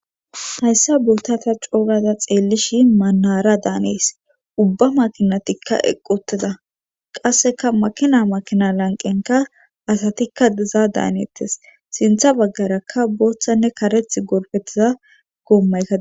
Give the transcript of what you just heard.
hayssa booththa ta coogaza xeellishi maanara daanees ubba makinatikka eqqoteda qasseka makina makina lanqenka asatikka diza daaniettes sintha baggarakka booththanne kareth gorfettiza goommaykk